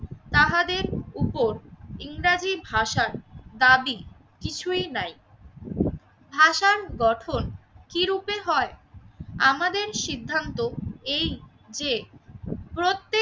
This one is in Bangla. তাহাদের উপর ইংরেজি ভাষার দাবি কিছুই নাই। ভাষান গঠন কি রূপে হয় আমাদের সিদ্ধান্ত এই যে প্রত্যেক